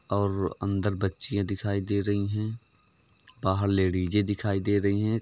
और अंदर बच्चियाँ दिखाई दे रही हैं। बाहर लेडिज दिखाई दे रही हैं।